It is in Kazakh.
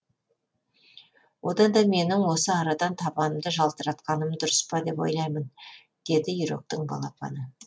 одан да менің осы арадан табанымды жалтыратқаным дұрыс па деп ойлаймын деді үйректің балапаны